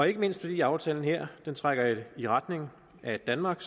ikke mindst fordi aftalen her trækker i retning af at danmark